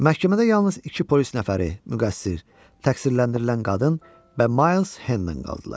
Məhkəmədə yalnız iki polis nəfəri, müqəssir, təqsirləndirilən qadın və Mayls Hendon qaldılar.